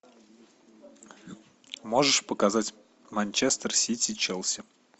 можешь показать манчестер сити челси